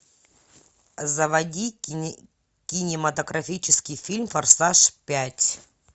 заводи кинематографический фильм форсаж пять